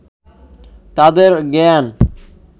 তাঁদের জ্ঞান